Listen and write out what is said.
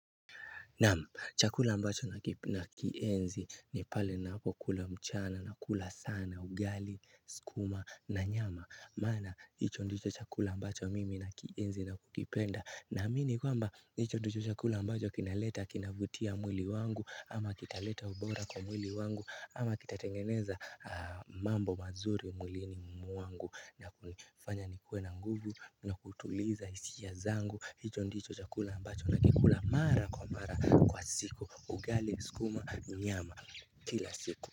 Naam, chakula ambacho nakienzi ni pale napokula mchana na kula sana, ugali, skuma na nyama Mana, hicho ndicho chakula ambacho mimi nakienzi na kukipenda na mini kwamba, hicho ndicho chakula ambacho kinaleta, kinavutia mwili wangu ama kitaleta ubora kwa mwili wangu ama kitatengeneza mambo mazuri mwilini mwangu na kufanya nikue na nguvu na kutuliza hisijia zangu hicho ndicho chakula ambacho nakikula mara kwa mara kwa siku Ugali, skuma, nyama kila siku.